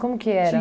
Como que era?